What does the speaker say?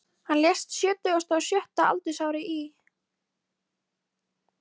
Hann lést á sjötugasta og sjötta aldursári í